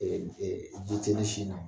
ɛɛ ji tɛ ne sin na